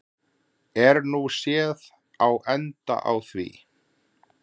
Er nú séð á enda á því.